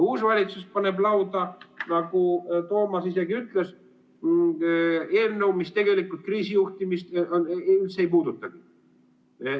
Uus valitsus paneb lauda, nagu Toomas isegi ütles, eelnõu, mis tegelikult kriisijuhtimist üldse ei puudutagi.